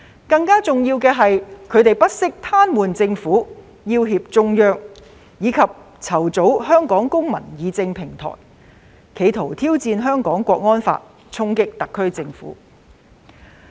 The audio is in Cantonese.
更重要的是，他們不惜癱瘓政府，要脅中央，以及籌組"香港公民議政平台"，企圖挑戰《香港國安法》，衝擊特區政府。